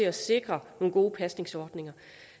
at sikre nogle gode pasningsordninger